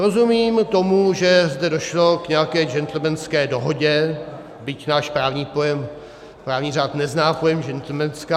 Rozumím tomu, že zde došlo k nějaké gentlemanské dohodě, byť náš právní pojem, právní řád nezná pojem gentlemanská.